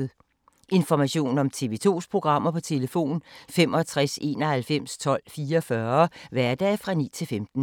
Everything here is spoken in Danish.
Information om TV 2's programmer: 65 91 12 44, hverdage 9-15.